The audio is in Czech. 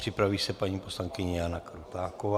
Připraví se paní poslankyně Jana Krutáková.